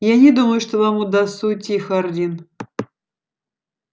я не думаю что вам удастся уйти хардин